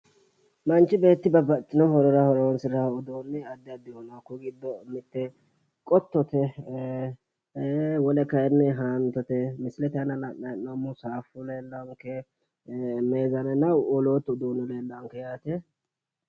Manch beetti babbaxxitino horora horonsirawo Udiini adi adihu no hakuyi giddo mitte qottote Wole kayinni haantote sase dana la'nayi hee'noomo Zaafu lelaanke meesane no woolootu uduunni lelaanke Yaate.